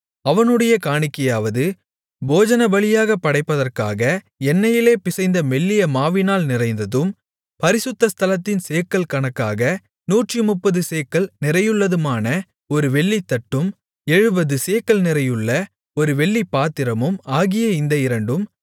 அவனுடைய காணிக்கையாவது போஜனபலியாகப் படைப்பதற்காக எண்ணெயிலே பிசைந்த மெல்லிய மாவினால் நிறைந்ததும் பரிசுத்த ஸ்தலத்தின் சேக்கல் கணக்காக நூற்றுமுப்பது சேக்கல் நிறையுள்ளதுமான ஒரு வெள்ளித்தட்டும் எழுபது சேக்கல் நிறையுள்ள ஒரு வெள்ளிப்பாத்திரமும் ஆகிய இந்த இரண்டும்